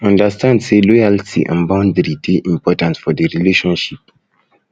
understand say loyalty and boundaries de important for the relationship